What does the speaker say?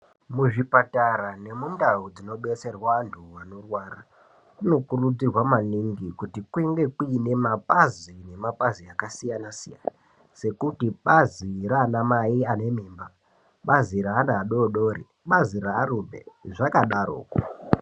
Muzvipatara nemundau dzinobetserwa antu anorwara, kunokurudzirwa maningi kuti kunge kuine bazi nemapazi akasiyana-siyana, sekuti bazi raanamai anamai ane mimba, bazi reana adodori, bazi rearume ,zvichienda zvakadaroko.